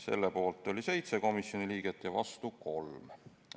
Selle poolt oli 7 komisjoni liiget ja vastu 3.